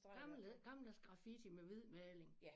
Gammel gammeldags graffiti med hvid maling